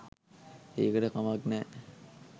ඒකට කමක් නෑ